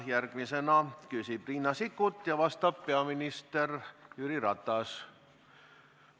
Järgmisena küsib Riina Sikkut ja vastab peaminister Jüri Ratas.